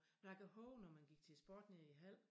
Jeg kan hove når man gik til sport nede i Hald